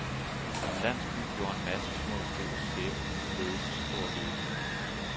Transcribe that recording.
I en landsby gjorde en masse små stykker sæbeligeleds stor lykke.